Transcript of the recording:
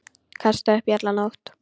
Kastaði upp í alla nótt.